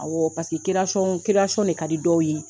Awɔ paseke de ka di dɔw ye.